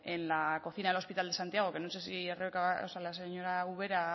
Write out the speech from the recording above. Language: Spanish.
en el en la cocina del hospital de santiago que no sé si o sea la señora ubera